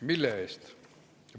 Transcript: Mille eest?